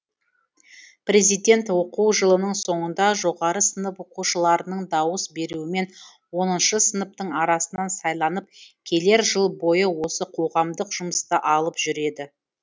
президент оқу жылының соңында жоғары сынып оқушыларының дауыс беруімен оныншы сыныптың арасынан сайланып келер жыл бойы осы қоғамдық жұмысты алып жүреді